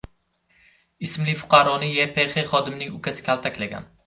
ismli fuqaroni YPX xodimining ukasi kaltaklagan.